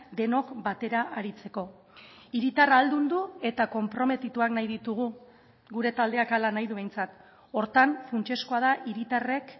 denok batera aritzeko hiritarra ahaldundu eta konprometituak nahi ditugu gure taldeak hala nahi du behintzat horretan funtsezkoa da hiritarrek